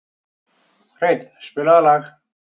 Hreinn, spilaðu lag.